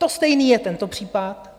To stejné je tento případ.